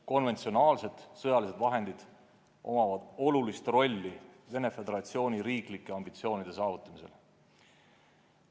Konventsionaalsed sõjalised vahendid mängivad suurt rolli Venemaa Föderatsiooni riiklike ambitsioonide saavutamisel.